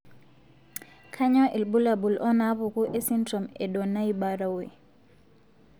Kainyio irbulabul onaapuku esindirom eDonnai Barrowe?